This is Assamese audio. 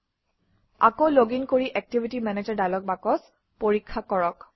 আকৌ লগিন কৰি এক্টিভিটি মেনেজাৰ ডায়লগ বাকচ পৰীক্ষা কৰক